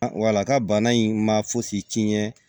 Wala ka bana in ma fosi tiɲɛ